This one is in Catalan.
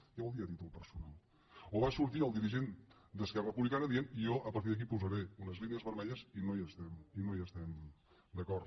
què vol dir a títol personal o va sortir el dirigent d’esquerra republicana dient jo a partir d’aquí posaré unes línies vermelles i no hi estem d’acord